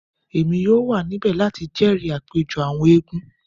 Emi yoo wa nibẹ lati jẹri apejọ awọn eégún